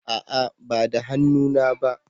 A'a ba da hannu na ba